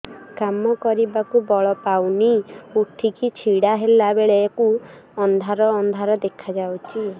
କାମ କରିବାକୁ ବଳ ପାଉନି ଉଠିକି ଛିଡା ହେଲା ବେଳକୁ ଅନ୍ଧାର ଅନ୍ଧାର ଦେଖା ଯାଉଛି